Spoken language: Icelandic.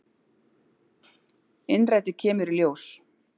Innrætið kemur í ljós.